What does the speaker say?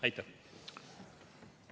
Aitäh!